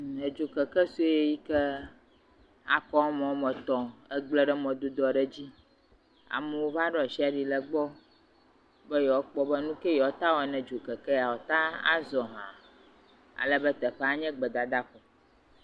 Edo keke sɔe yi akɔ ame woa me etɔ egble ɖe mɔdzi dɔ ɖe dzi. Amewo va ɖo asi ɖe egbɔ be woakpɔ be nuke ye woa teŋu awɔ ne dzokeke sia wɔteŋu azɔ hã. Alebe teƒea nye gbedadaƒo.